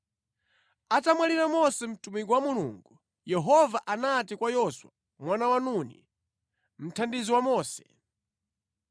Atamwalira Mose mtumiki wa Mulungu, Yehova anati kwa Yoswa mwana wa Nuni mthandizi wa Mose: